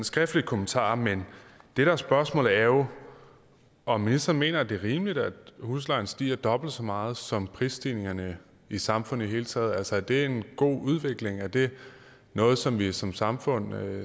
skriftlig kommentar men det der er spørgsmålet er jo om ministeren mener det er rimeligt at huslejen stiger dobbelt så meget som priserne i samfundet i det hele taget altså er det en god udvikling er det noget som vi som samfund